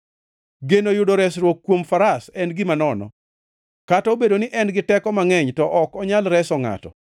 Geno yudo resruok kuom faras en gima nono kata obedo ni en giteko mangʼeny to ok onyal reso ngʼato.